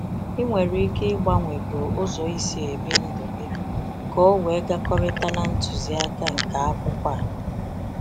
I nwere ike ịgbanwego ụzọ I si ebi ndụ gị ka o wee gakọrịta na ntuziaka nke akwụkwọ ah